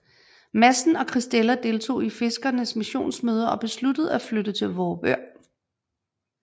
Madsen og Christella deltog i fiskernes missionsmøder og besluttede at flytte til Vorupør